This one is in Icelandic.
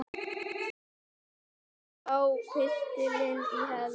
Sjá pistilinn í heild